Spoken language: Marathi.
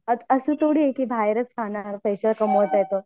असं थोडी आहे की बाहेरच खाणार पैसे कमवत आहे तर.